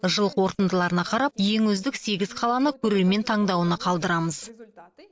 жыл қорытындыларына қарап ең үздік сегіз қаланы көрермен таңдауына қалдырамыз